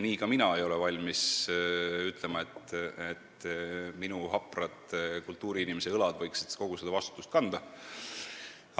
Ka mina ei ole valmis ütlema, et minu haprad kultuuriinimese õlad võiksid kogu seda vastutust kanda.